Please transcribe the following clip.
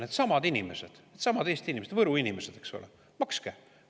Needsamad inimesed, needsamad Eesti inimesed, Võru inimesed, eks ole – makske!